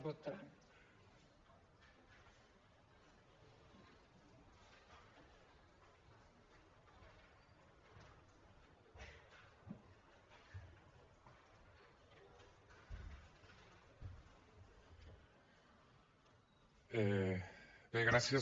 bé gràcies